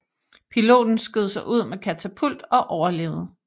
Piloten skød sig ud med katapult og overlevede